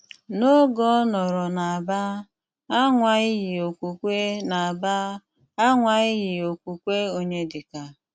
N’óge ọ́ nọ́rò n’Ábà, anwa-lị okwùkwé n’Ábà, anwa-lị okwùkwé Ọnyédíkà’